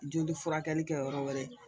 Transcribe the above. Joli furakɛli kɛ yɔrɔ wɛrɛ